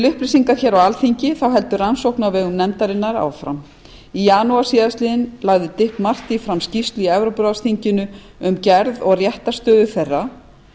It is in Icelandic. upplýsingar hér á alþingi þá heldur rannsókn á vegum nefndarinnar áfram í janúar síðastliðnum lagði dick marty fram skýrslu í evrópuráðsþinginu um gerð og réttarstöðu þeirra